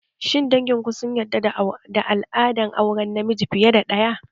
Shin dangin ku sun yarda da al'adar auren miji fiye da ɗaya?